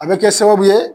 A bɛ kɛ sababu ye